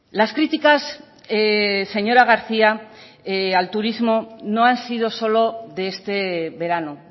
las críticas señora garcía al turismo no han sido solo de este verano